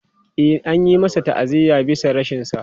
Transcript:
E, an yi masa ta'aziyya bisa rashinsa.